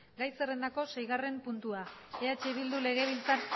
gai zerrendako seigarren puntua eh bildu legebiltzar